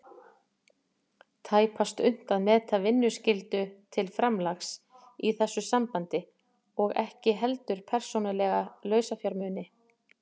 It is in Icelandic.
tæpast unnt að meta vinnuskyldu til framlags í þessu sambandi og ekki heldur persónulega lausafjármuni.